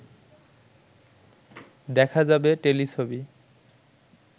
দেখা যাবে টেলিছবি